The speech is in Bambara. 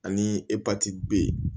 Ani epatiti b ye